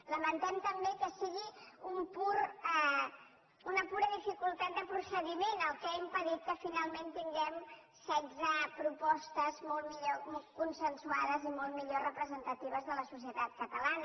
lamentem també que sigui una pura dificultat de procediment el que ha impedit que finalment tinguem setze propostes molt millor consensuades i molt millor representatives de la societat catalana